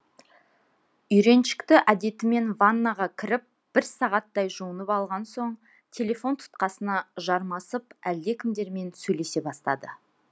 үйреншікті әдетімен ваннаға кіріп бір сағаттай жуынып алған соң телефон тұтқасына жармасып әлдекімдермен сөйлесе бастады